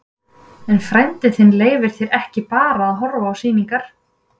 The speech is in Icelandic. En frændi þinn leyfir þér ekki bara að horfa á sýningar.